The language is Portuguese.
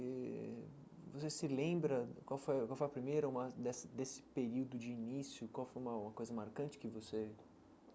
Eh você se lembra, qual foi qual foi a primeira uma, dessa desse período de início, qual foi uma uma coisa marcante que você?